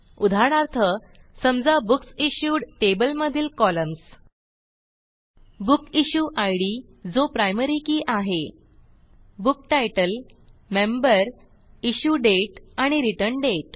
उदाहरणार्थ समजा book issued table मधील कॉलम्स बुकिश्युइड जो प्रायमरी के आहे बुक्तीतले मेंबर इश्युडेट एंड रिटर्न्डेट